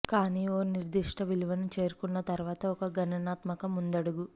కానీ ఒక నిర్దిష్ట విలువను చేరుకున్న తరువాత ఒక గుణాత్మక ముందడుగు